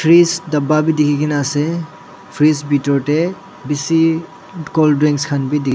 bis dapa bi dikhikaena ase fridge bitor tae bishi colddrink khan bi dikhi--